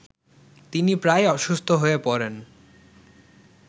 তিনি প্রায়ই অসুস্থ হয়ে পড়েন